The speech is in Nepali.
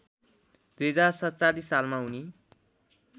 २०४७ सालमा उनी